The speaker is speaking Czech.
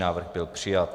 Návrh byl přijat.